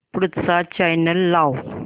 पुढचा चॅनल लाव